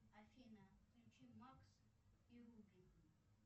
афина включи макс и руби